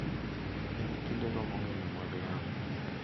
En kindego mongino mag lamo,